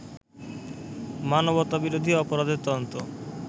মানবতাবিরোধী অপরাধের তদন্ত